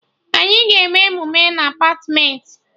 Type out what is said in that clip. Anyị ga-eme emume na Apartmentị